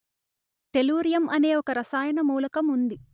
tellurium అనే ఒక రసాయన మూలకం ఉంది